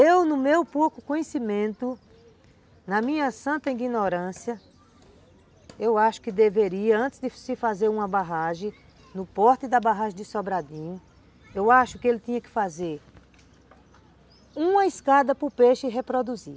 Eu, no meu pouco conhecimento, na minha santa ignorância, eu acho que deveria, antes de se fazer uma barragem, no porte da barragem de Sobradinho, eu acho que ele tinha que fazer uma escada para o peixe reproduzir.